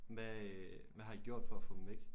Hvad øh hvad har i gjort for at få dem væk?